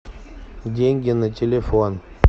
деньги на телефон